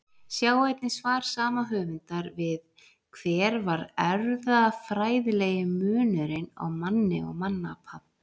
Sjá einnig svar sama höfundar við Hver er erfðafræðilegi munurinn á manni og mannapa?